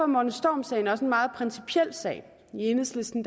morten storm sagen også en meget principiel sag i enhedslisten